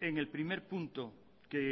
en el primer punto que